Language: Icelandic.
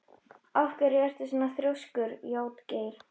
Af hverju ertu svona þrjóskur, Játgeir?